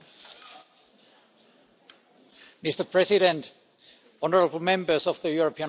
Mr. President, honourable Members of the European Parliament, ladies and gentlemen.